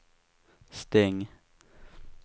stäng